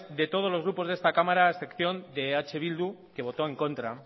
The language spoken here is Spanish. de todos los grupos de esta cámara a excepción de eh bildu que votó en contra